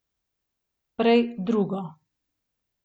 Prej drugo.